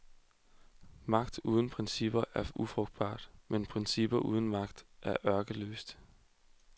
Magt uden principper er ufrugtbart, men principper uden magt er ørkesløst.